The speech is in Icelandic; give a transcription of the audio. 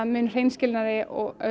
mun hreinskilnari